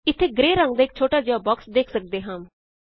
ਇੱਥੇ ਗ੍ਰੇ ਰੰਗ ਦਾ ਇਕ ਛੋਟਾ ਜਿਹਾ ਬਾਕ੍ਸ ਵੇਖ ਸਕਦੇ ਹਾਂ